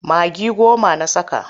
Magi goma na saka.